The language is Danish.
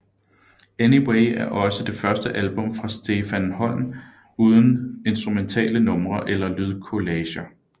Anyway er også det første album fra Ste van Holm uden instrumentale numre eller lydkollager